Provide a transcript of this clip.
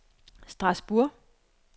Strasbourg